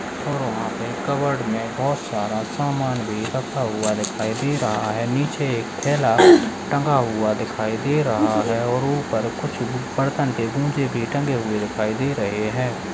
और वहां पर कबर्ड में बहुत सारा सामान भी रखा हुआ दिखाई दे रहा है पीछे एक थैला टंगा हुआ दिखाई दे रहा है और ऊपर कुछ बर्तन पर टंगे हुए दिखाई दे रहे है।